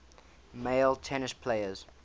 male tennis players